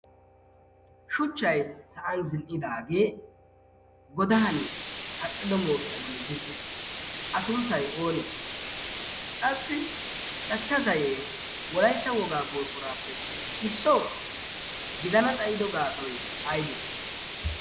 shuchchai sa'an zin"idaagee godan kaqqido mooqiyaa bolli zin"iis. a sunttai oonee qassi cachcha zayee wolaitta wogaa borqquraappe issoo gidana xayido gaasoi aydee?